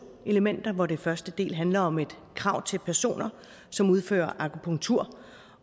elementer hvor den første del handler om et krav til personer som udfører akupunktur